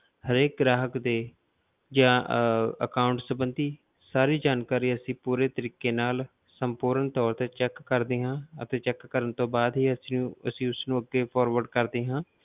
ਹਰੇਕ ਗ੍ਰਾਹਕ ਦੇ ਜਾਂ ਅਹ account ਸੰਬੰਧੀ ਸਾਰੀ ਜਾਣਕਾਰੀ ਅਸੀਂ ਪੂਰੇ ਤਰੀਕੇ ਨਾਲ, ਸਪੂਰਨ ਤੌਰ ਤੇ check ਕਰਦੇ ਹਾਂ ਅਤੇ check ਕਰਨ ਤੋਂ ਬਾਅਦ ਹੀ ਅਸੀਂ ਅਸੀਂ ਉਸਨੂੰ ਅੱਗੇ forward ਕਰਦੇ ਹਾਂ।